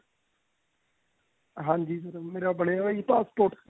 ਹਾਂਜੀ sir ਮੇਰਾ ਬਣਿਆ ਹੋਇਆ ਜੀ passport